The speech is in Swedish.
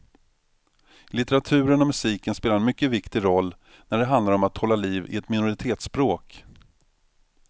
Litteraturen och musiken spelar en mycket viktig roll när det handlar om att hålla liv i ett minoritetsspråk.